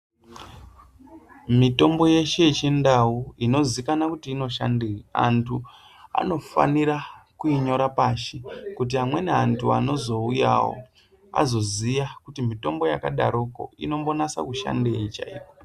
Mitombo yeshe yechiNdau inozivikanwa kuti inoshandeyi, antu anofanira kuinyora pashi kuti amweni antu anozouyawo azoziya kuti mitombo yakadaroko inombonatsa kushandeyi chaiko.